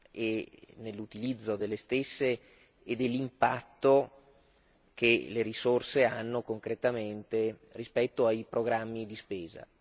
e, nell'utilizzo delle stesse, dell'impatto che le risorse hanno concretamente rispetto ai programmi di spesa